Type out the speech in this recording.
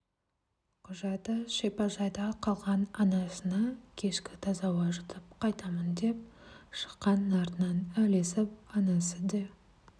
құжаты шипажайда қалған анасына кешке таза ауа жұтып қайтамын деп шыққан артынан ілесіп анасы де